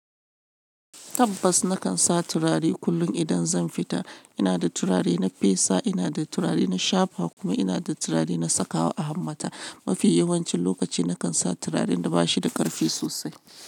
Tabbas na kan sa turare kullum idan zan fita. Ina da turare na fesa, ina da turare na shafa kuma ina da turare na saka wa a hammata. Mafi yawancin lokaci na kan sa turaren da ba shi da ƙarfi sosai.